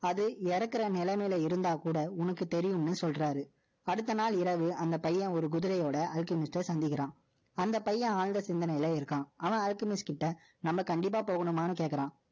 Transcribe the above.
அது இறக்குற நிலைமயில இருந்தா கூட, உனக்கு தெரியும்னு சொல்றாரு. அடுத்த நாள் இரவு, அந்த பையன் ஒரு குதிரையோட, Alchemist அ சந்திக்கிறான். அந்த பையன், ஆழ்ந்த சிந்தனையில இருக்கான். அவன் Alchemist கிட்ட, நம்ம கண்டிப்பா போகணுமான்னு கேட்கிறான்